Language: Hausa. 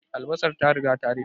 Albasar ta riga ta ruɓe